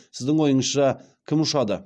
сіздің ойыңызша кім ұшады